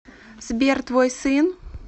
сбер твой сын